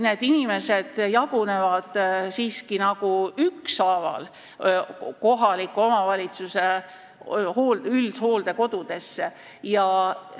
Need inimesed jagunevad siiski nagu ükshaaval kohaliku omavalitsuse üldhooldekodude vahel.